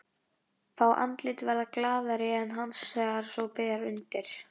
Fá andlit verða glaðari en hans þegar svo ber undir.